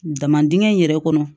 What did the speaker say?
Daman dingɛ in yɛrɛ kɔnɔ